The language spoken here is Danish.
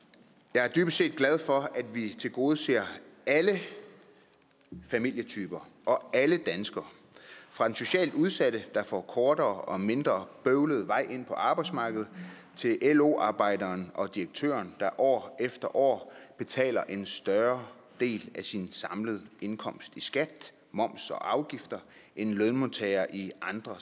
jeg er dybest set glad for at vi tilgodeser alle familietyper og alle danskere fra den socialt udsatte der får en kortere og mindre bøvlet vej ind på arbejdsmarkedet til lo arbejderen og direktøren der år efter år betaler en større del af sin samlede indkomst i skat moms og afgifter end lønmodtagere i andre